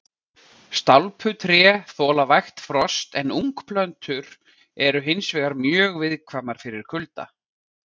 Stálpuð tré þola vægt frost en ungplöntur eru hins vegar mjög viðkvæmar fyrir kulda.